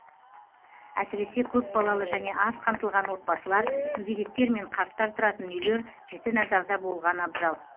әсіресе көпбалалы және аз қамтылған отбасылар мүгедектер мен қарттар тұратын үйлер жіті назарда болған абзал